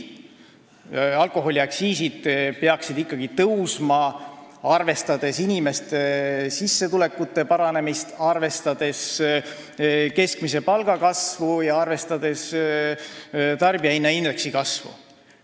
Alkoholiaktsiisid peaksid tõusma vastavalt inimeste sissetulekute kasvamisele, arvestades keskmise palga ja tarbijahinnaindeksi tõusu.